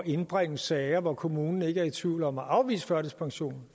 indbringe sager når kommunen ikke er i tvivl om at afvise førtidspension